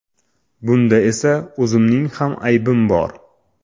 Bunda esa o‘zimning ham aybim bor.